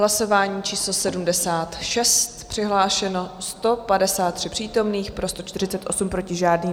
Hlasování číslo 76, přihlášeno 153 přítomných, pro 148, proti žádný.